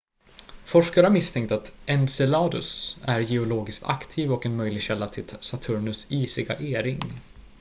forskare har misstänkt att enceladus är geologiskt aktiv och en möjlig källa till saturnus isiga e-ring